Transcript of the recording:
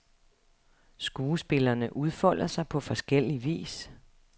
Skuespillerne udfolder sig på forskellig vis.